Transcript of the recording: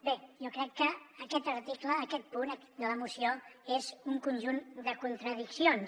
bé jo crec que aquest article aquest punt de la moció és un conjunt de contradiccions